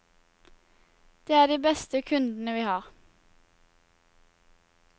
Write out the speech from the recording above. Det er de beste kundene vi har.